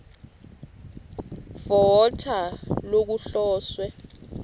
for water lokuhloswe